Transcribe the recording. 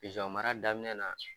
mara daminɛ na